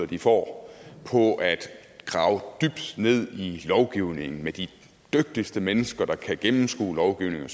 de får på at grave dybt ned i lovgivningen med de dygtigste mennesker der kan gennemskue lovgivningen